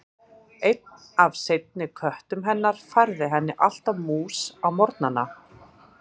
Einn af seinni köttum hennar færði henni alltaf mús á morgnana.